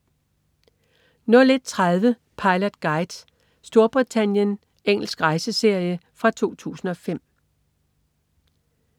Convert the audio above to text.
01.30 Pilot Guide: Storbritannien. Engelsk rejseserie fra 2005